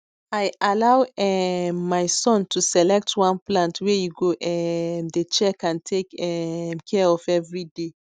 i allow um my son to select one plant wey e go um dey check and take um care of every day